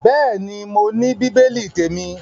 Bẹ́ẹ̀ ni, mo ní bíbélì témi.